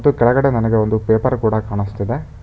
ಮತ್ತು ಕೆಳಗಡೆ ನನಗೆ ಒಂದು ಪೇಪರ್ ಕೂಡ ಕಾಣುಸ್ತಿದೆ.